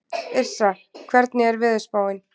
Yrsa, hvernig er veðurspáin?